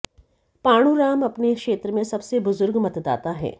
पाणु राम अपने क्षेत्र में सबसे बुजुर्ग मतदाता हैं